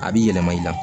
A b'i yɛlɛma i la